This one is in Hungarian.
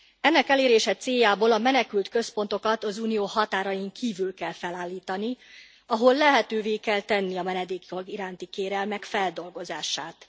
Ennek elérése céljából a menekült központokat az Unió határain kívül kell felállítani, ahol lehetővé kell tenni a menedékjog iránti kérelmek feldolgozását.